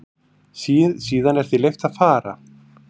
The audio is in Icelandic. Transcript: Síðan er því leyft að fara.